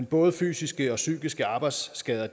både fysiske og psykiske arbejdsskader